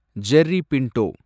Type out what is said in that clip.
Jerry Pinto